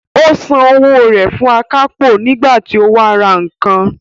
Ó san owó rẹ̀ fún akápò nígbà tí ó wá ra nǹkan